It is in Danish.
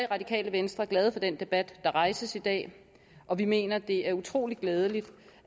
radikale venstre glade for den debat der rejses i dag og vi mener at det er utrolig glædeligt